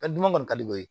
kɔni ka di o ye